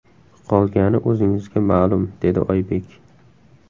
Qolgani o‘zingizga ma’lum”, dedi Oybek.